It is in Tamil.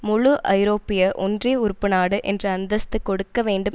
முழு ஐரோப்பிய ஒன்றிய உறுப்பு நாடு என்ற அந்தஸ்து கொடுக்க வேண்டும்